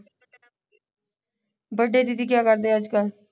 ਵੱਡੇ ਦੀਦੀ ਕਿਆ ਕਰਦੇ ਹੈ ਅੱਜ ਕੱਲ